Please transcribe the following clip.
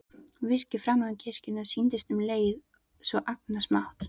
Virkið framan við kirkjuna sýndist um leið svo agnarsmátt.